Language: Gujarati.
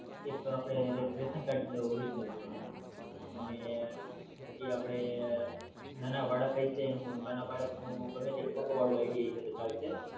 એક આપણે રેશન કાર્ડ Original જોશે છે અને પછી આપડે નાના બાળક હશે એનું નાના બાળક નું ગમે તે ફોટો વાળૂ આઈડી હસે તો ચાલશે